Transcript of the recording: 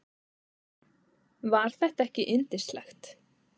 Var þetta ekki yndislegt?